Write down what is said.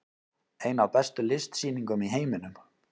Ein af bestu listsýningum í heiminum